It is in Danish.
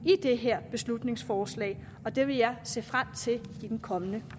i det her beslutningsforslag og det vil jeg se frem til i den kommende